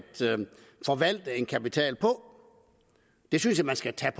forvalte en kapital på jeg synes man skal tage